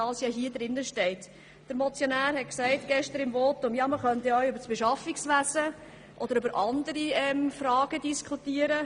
Der Motionär hat gestern in seinem Votum gesagt, man könne auch über das Beschaffungswesen oder andere Fragen diskutieren.